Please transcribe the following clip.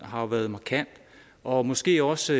har været markant og måske også